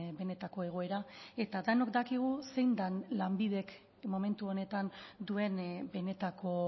benetako egoera eta denok dakigu zein den lanbidek momentu honetan duen benetako